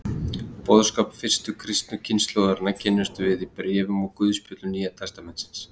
Boðskap fyrstu kristnu kynslóðarinnar kynnumst við í bréfum og guðspjöllum Nýja testamentisins.